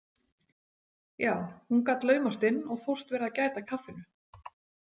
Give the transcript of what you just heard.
Já, hún gat laumast inn og þóst vera að gæta að kaffinu.